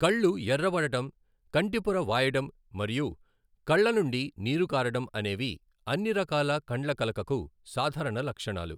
కళ్ళు ఎర్రబడటం, కంటిపొర వాయడం మరియు కళ్ళ నుండి నీరు కారడం అనేవి అన్ని రకాల కండ్లకలకకు సాధారణ లక్షణాలు.